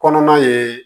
Kɔnɔna ye